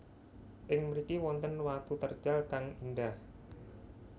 Ing mriki wonten watu terjal kang indah